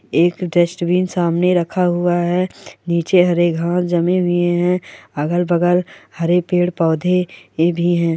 एक डस्टबिन सामने रखा हुआ है नीचे हरे घास जमे हुए है अगल बगल हरे पेड़ पौधे ये भी है।